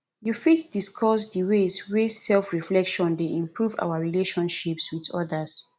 you fit discuss di ways wey selfreflection dey improve our relationships with odas